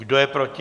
Kdo je proti?